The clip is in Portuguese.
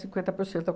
por cento. Eu